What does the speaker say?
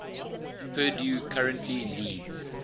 purdue currently leads